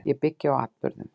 Ég byggi á atburðum.